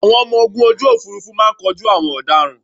Àwọn ọmọ ogun ojú òfuurufú máa kojú àwọn ọ̀daràn